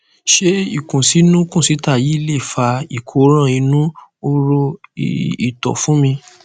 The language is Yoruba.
ṣé ikunsinu kunsita yìí lè fa ìkóràn inú horo ié ìtọ fún mi